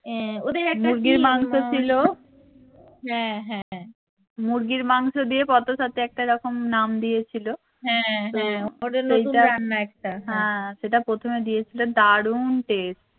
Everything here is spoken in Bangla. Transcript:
মুরগির মাংস ছিল মুরগির মাংস দিয়ে একটা এরকম নাম দিয়েছিলো সেটা প্রথমে দিয়েছিলো দারুন test